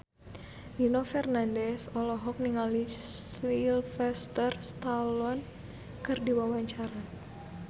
Nino Fernandez olohok ningali Sylvester Stallone keur diwawancara